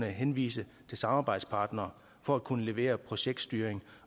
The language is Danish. henvise til samarbejdspartnere for at kunne levere projektstyring